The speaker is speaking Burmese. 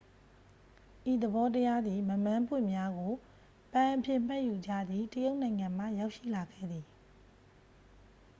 ဤသဘောတရားသည် မက်မန်းပွင့်များကို ပန်းအဖြစ်မှတ်ယူကြသည့် တရုတ်နိုင်ငံမှ ရောက်ရှိလာခဲ့သည်